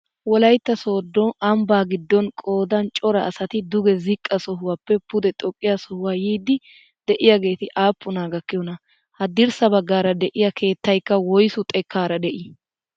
Wolaytta sooddo ambbaa giddon qoodan cora asati duge ziqqa sohuwaappe pude xoqqiyaa sohuwaa yiidi de'iyaageti aappunaa gakkiyoonaa? haddirssa baggaara de'iyaa keettaykka woysu xekkaara de'ii?